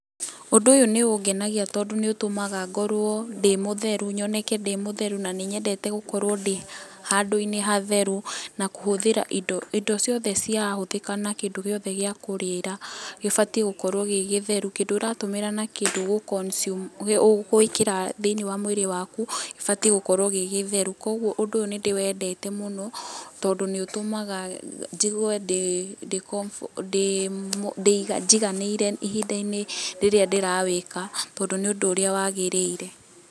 Ũndũ ũyũ nĩũngenagia tondũ nĩũtũmaga ngorwo ndĩ mũtheru, nyoneke ndĩ mũtheru na nĩnyendete gũkorwo ndĩ handũ-inĩ hatheru na kũhũthĩra indo, indo ciothe cirahũthĩka na kĩndũ gĩothe gĩa kũrĩra gĩbatie gũkorwo gĩ gĩtheru, kĩndũ ũratũmĩra na kĩndũ ũgũ consume, ũgwĩkĩra thĩiniĩ wa mwĩrĩ waku, gĩbatiĩ gũkorwo gĩ gĩtheru. Kogwo ũndũ ũyũ nĩndĩwendete mũno tondũ nĩũtũmaga njigwe ndĩ, ndĩ comfortable, ndĩ, njiganĩire ihinda-inĩ rĩrĩa ndĩrawĩka tondũ nĩ ũndũ ũrĩa wagĩrĩire.